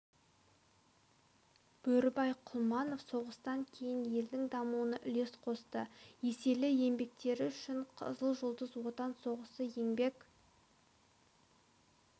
бөрібай құлманов соғыстан кейін елдің дамуына үлес қосты еселі еңбектері үшін қызыл жұлдыз отан соғысы еңбек